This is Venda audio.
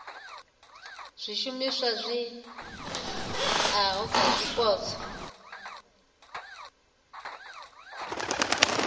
zwishumiswa zwi oeaho kha zwipotso